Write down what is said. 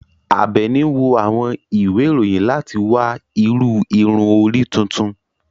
Abeeni n wo àwọn ìwe iroyin lati wa iru ìrun orí tuntun